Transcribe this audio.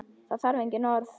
Það þarf engin orð.